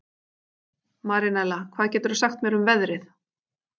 Marinella, hvað geturðu sagt mér um veðrið?